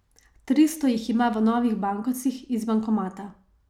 Tristo jih ima v novih bankovcih iz bankomata.